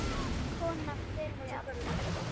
Kona fyrri alda.